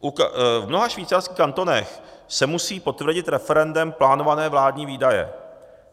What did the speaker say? V mnoha švýcarských kantonech se musí potvrdit referendem plánované vládní výdaje.